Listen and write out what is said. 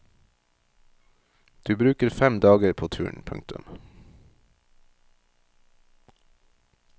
Du bruker fem dager på turen. punktum